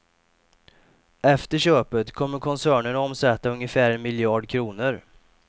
Efter köpet kommer koncernen att omsätta ungefär en miljard kronor.